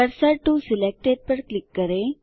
cursor to selected पर click करें